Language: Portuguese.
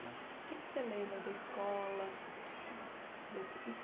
O que é que você lembra da escola? Desse